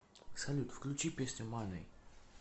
салют включи песню мани